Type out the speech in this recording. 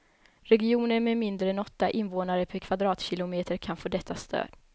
Regioner med mindre än åtta invånare per kvadratkilometer kan få detta stöd.